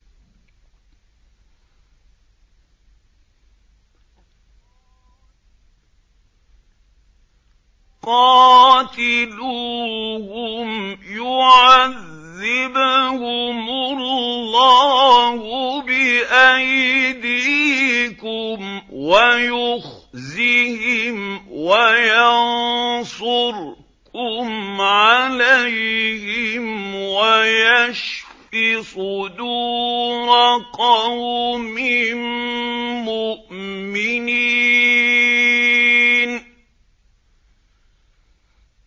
قَاتِلُوهُمْ يُعَذِّبْهُمُ اللَّهُ بِأَيْدِيكُمْ وَيُخْزِهِمْ وَيَنصُرْكُمْ عَلَيْهِمْ وَيَشْفِ صُدُورَ قَوْمٍ مُّؤْمِنِينَ